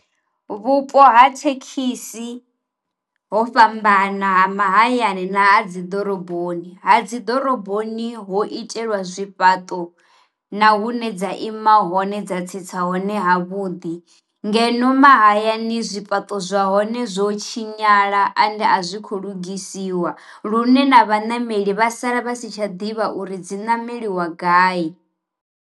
Vhupo ha thekhisi ho fhambana ha mahayani na a dzi ḓoroboni, ha dziḓoroboni ho itelwa zwi fhaṱo na hune dza ima hone dza tsitsa hone hone ha vhuḓi, ngeno mahayani zwi fhaṱo zwa hone zwo tshinyala ende a zwi khou lugisiwa lune na vhanameli vha sala vha si tsha ḓivha uri dzi nameliwa gai.